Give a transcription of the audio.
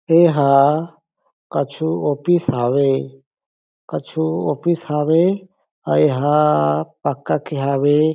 एहा कछु ऑफिस हावे कछु ऑफिस हावे अउ एहा पक्का के हावे ।